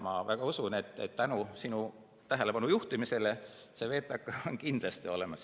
Ma usun, et tänu sinu tähelepanujuhtimisele on VTK septembrikuuks kindlasti olemas.